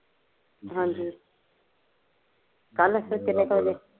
ਹਾਂਜੀ, ਕੱਲ ਤਿਨ ਕ ਵਜੇ